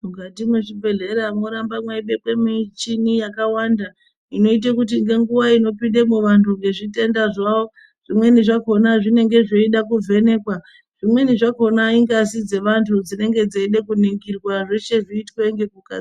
Mukati mwezvibhedhlera moramba mweibekwe michini yakawanda inoite kuti ngenguwa inopindemo vantu ngezvitenda zvawo, zvimweni zvakona zvinenge zveida kuvhenekwa. Zvimweni zvakona ingazi dzevantu dzinenge dzeide kuningirwa, zveshe zviitwe ngekuka...